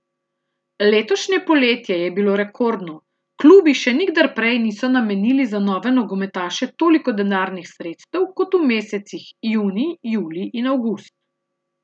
Letošnje poletje je bilo rekordno, klubi še nikdar prej niso namenili za nove nogometaše toliko denarnih sredstev kot v mesecih junij, julij in avgust.